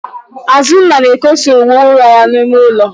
Azụnna na-ekosa uwe ụra ya n'ime ụlọ.